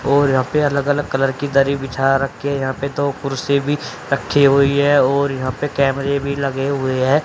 और यहां पर अलग अलग कलर की दरी बिछा रखी है। यहां पर दो कुर्सी भी रखी हुई है और यहां पे कैमरे भी लगे हुए हैं।